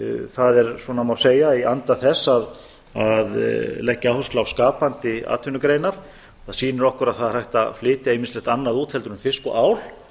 það er svona má segja í anda þess að leggja áherslu á skapandi atvinnugreinar það sýnir okkur að það er hægt að flytja ýmislegt annað út heldur en fisk og ál